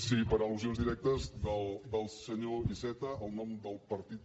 sí per al·lusions directes del senyor iceta al nom del partit